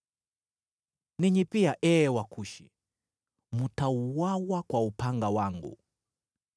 “Ninyi pia, ee Wakushi, mtauawa kwa upanga wangu.”